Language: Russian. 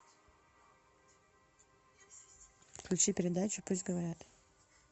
включи передачу пусть говорят